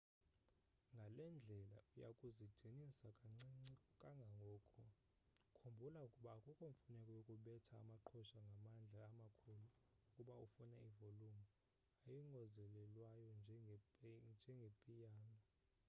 ngale ndlela uya kuzidinisa kancinci kangangoko khumbula ukuba akukho mfuneko yokubetha amaqhosha ngamandla amakhulu kuba ufuna ivolumu eyongezelelweyo njengepiyano